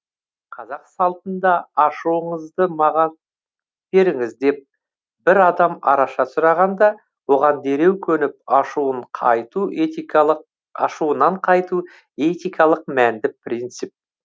қазақ салтында ашуыңызды маған беріңіз деп бір адам араша сұрағанда оған дереу көніп ашуынан қайту этикалық мәнді принцип